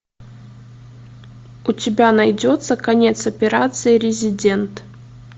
у тебя найдется конец операции резидент